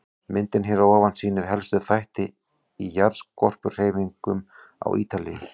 Myndin hér að ofan sýnir helstu þætti í jarðskorpuhreyfingum á Ítalíu.